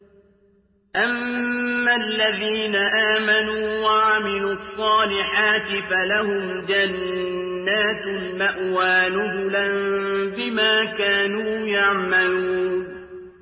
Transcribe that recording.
أَمَّا الَّذِينَ آمَنُوا وَعَمِلُوا الصَّالِحَاتِ فَلَهُمْ جَنَّاتُ الْمَأْوَىٰ نُزُلًا بِمَا كَانُوا يَعْمَلُونَ